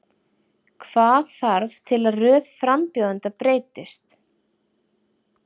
Hvaða þarf til að röð frambjóðenda breytist?